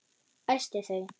Æsti þau.